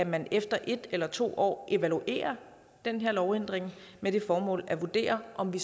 man efter en eller to år evaluerer den her lovændring med det formål at vurdere om vi